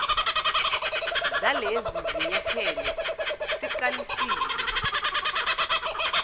zalezi zinyathelo siqalisile